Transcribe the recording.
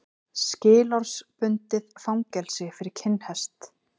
Skilorðsbundið fangelsi fyrir kinnhest